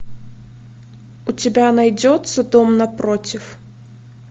у тебя найдется дом напротив